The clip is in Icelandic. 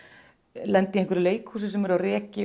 lenda í einhverju leikhúsi sem er á reki